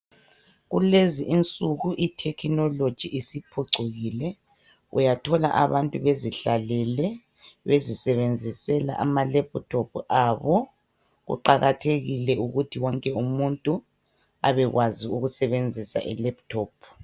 Kulezi insuku i thekhinoloji isiphucukile, uyathola abantu bezihlalele, bezisebenzisela ama lephuthophu abo, kuqakathekile ukuthi wonke umuntu abekwazi ukusebenzisa i laptop